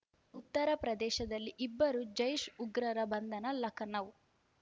ಉತ್ತರ ಪ್ರದೇಶದಲ್ಲಿ ಇಬ್ಬರು ಜೈಷ್‌ ಉಗ್ರರ ಬಂಧನ ಲಖನೌ